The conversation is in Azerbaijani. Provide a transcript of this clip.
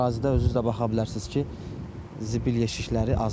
Ərazidə özünüz də baxa bilərsiniz ki, zibil yeşikləri azdır.